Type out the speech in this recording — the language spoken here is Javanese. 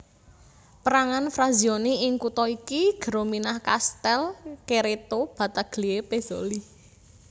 Pérangan frazioni ing kutha iki Geromina Castel Cerreto Battaglie Pezzoli